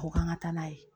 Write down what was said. Ko k'an ka taa n'a ye